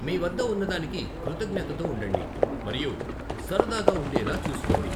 మీ వద్ద ఉన్నదానికి కృతజ్ఞతతో ఉండండి మరియు సరదాగా ఉండేలా చూసుకోండి.